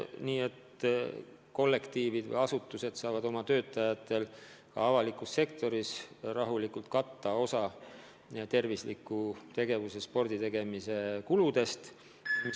Nii et asutused saavad rahulikult oma töötajatel ka avalikus sektoris katta osa tervisliku tegevuse, sporditegemise kuludest.